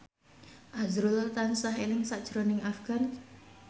azrul tansah eling sakjroning Afgan